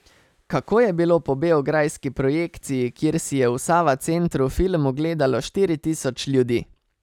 Kako je bilo po beograjski projekciji, kjer si je v Sava Centru film ogledalo štiri tisoč ljudi?